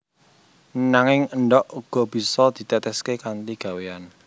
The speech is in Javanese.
Nanging endhog uga bisa diteteské kanthi gawéyan